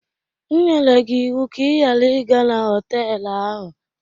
M nyere gị ịwụ ka ị ghara ịga na họtelụ ahụ!